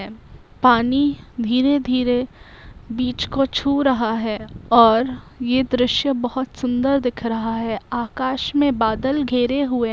पानी धीरे धीरे बीच को छु रहा है और यह दरिषय बहुत सुबदर दिख रहा है | आकाश मे बादल घेरे हुए है ।